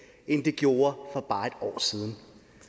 end det gjorde for bare et år siden